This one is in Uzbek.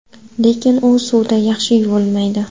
Lekin u suvda yaxshi yuvilmaydi.